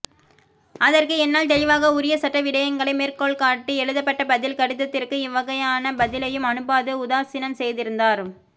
அதற்கு என்னால் தெளிவாக உரிய சட்ட விடயங்களை மேற்கோள்காட்டி எழுதப்பட்ட பதில் கடிதத்திற்கு எவ்வகையான பதிலையும் அனுப்பாது உதாசீனம் செய்திருந்தார்